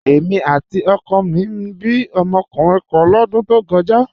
Èmi àti ọkọ mi bí ọmọkùnrin kan lọ́dún tó kọjá.